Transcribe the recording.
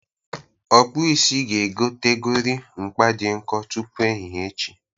Ọkpụisi ga-egotegori mkpa dị nkọ tupu ehihe echi.